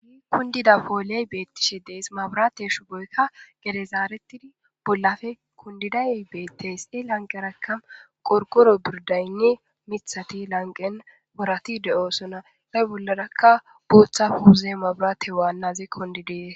Kundida pooley beettishe dees mabrate shuboykka gedezaaretidi bollape kundidayey beetteys e lanqeraka qorqoro birdaynne mithati lanqen porati de7oo sona nay bollarakka booththa puze mabirate waannazi kUndidee...